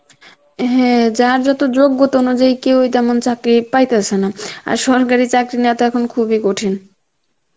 হ্যাঁ যার যত যোগ্যতা অনুযায়ী কেউই তেমন চাকরি পাইতাসে না, আর সরকারি চাকরি নেওয়া তো এখন খুবই কঠিন